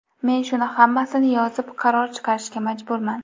Men shuni hammasini yozib, qaror chiqarishga majburman.